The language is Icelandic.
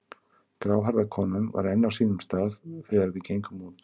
Gráhærða konan var enn á sínum stað þegar við gengum út.